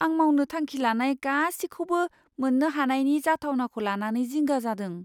आं मावनो थांखि लानाय गासिखौबो मोन्नो हानायनि जाथावनाखौ लानानै जिंगा जादों।